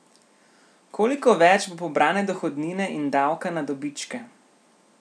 Koliko več bo pobrane dohodnine in davka na dobičke?